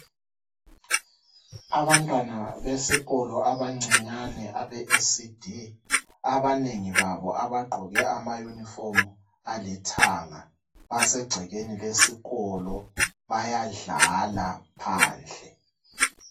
Abantwana besikolo abancinyane abe 'ECD', abanengi babo abagqoke amayunifomu alithanga, basegcekeni leskolo. Bayadlala phandle.